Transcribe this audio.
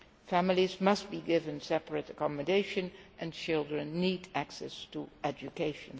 Families must be given separate accommodation, and children need access to education.